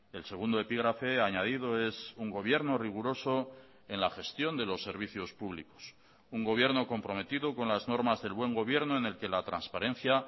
el segundo epígrafe añadido es un gobierno riguroso en la gestión de los servicios públicos un gobierno comprometido con las normas del buen gobierno en el que la transparencia